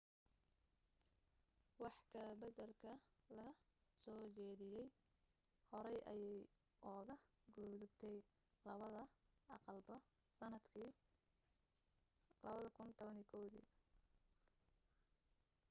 wax ka baddalka la soo jeediyay horey ayay uga gudubtay labada aqalba sannadkii 2011